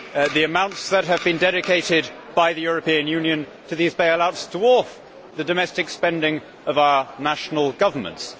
The amounts that have been dedicated by the European Union to these bailouts dwarf the domestic spending of our national governments.